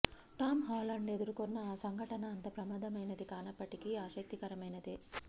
Tom Holland ఎదుర్కొన్న ఆ సంఘటన అంత ప్రమాదమైనది కానప్పటికీ ఆసక్తికరమైనదే